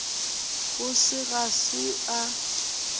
go se ga se a